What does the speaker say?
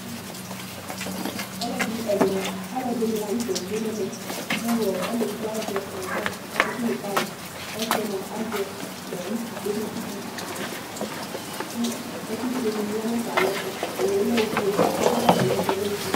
Ɔlɔdi ɛna, alʋɛdìní la ntɛ du ɛmɛ kʋ ɔlɔdi azɛ rɔba akele tay Ɔsi mʋa azɛ ʋtu kʋ ɔketsʋkʋ ʋku yɛ kʋ ɛku fʋe dìní ya nʋ atami ɛtu Owu ye lɛ ɔfʋe Ɛkʋɛ bʋakʋ atani azɛ ɔlɛ ɔfʋe